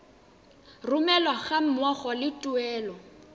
romelwa ga mmogo le tuelo